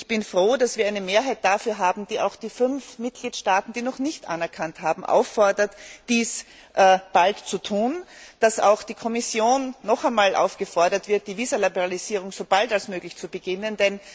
Ich bin froh, dass wir eine Mehrheit dafür haben, die auch die fünf Mitgliedstaaten, die Kosovo noch nicht anerkannt haben, auffordert, dies bald zu tun, und dass auch die Kommission noch einmal aufgefordert wird, die Visaliberalisierung so bald als möglich zu beginnen.